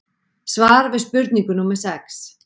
Svar við spurningu númer sex